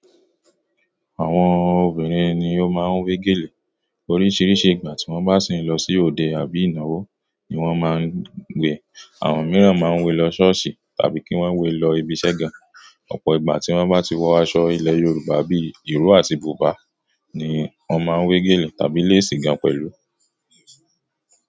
Àwọn obìnrin ni ó máa ń wé gèlè. Oríṣiríṣi ìgbà tí wọn bá sì ń lọ sí òde àbí ìnáwó ni wọ́n máa ń gbe. Àwọn mìíràn máa ń wé lọ ṣọ́ọ̀ṣì tàbí kí wọ́n wé lọ ibi iṣẹ́ gan. Ọ̀pọ̀ ìgbà tí wọ́n bá ti wọ aṣọ ilẹ̀ Yorùbá bí ìró àti bùbá ni wọ́n máa ń wé gèlè tàbí léèsì gan pẹ̀lú.